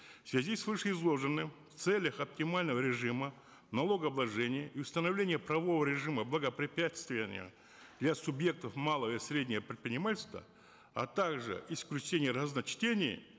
в связи с вышеизложенным в целях оптимального режима налогообложения и установления правового режима для субъектов малого и среднего предпринимательства а также исключения разночтений